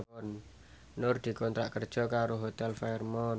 Nur dikontrak kerja karo Hotel Fairmont